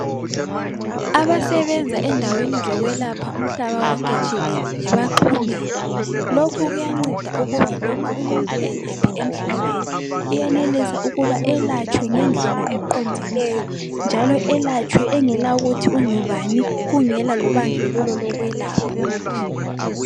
Abasebenza endaweni zokwelapha umhlaba wonke jikelele baxhumene. Lokhu kuyanceda ukuba loba umuntu engaphi emhlabeni uyenelisa ukuba elatshwe ngendlela eqondileyo njalo elatshwe engela kuthi ungubani kungela lobandlululo lokwelapha.